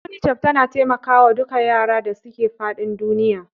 UNICEF tana taimakawa duka yaran da suke faɗin duniya.